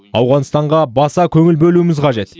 ауғанстанға да баса көңіл бөлуіміз қажет